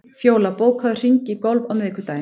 Fjóla, bókaðu hring í golf á miðvikudaginn.